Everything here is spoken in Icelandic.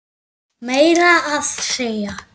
Meira að segja